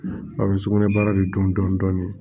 A bɛ sugunɛ baara de dɔn dɔɔnin dɔɔnin